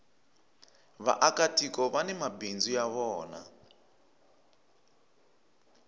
vaaka tiko vani mabindzu ya vona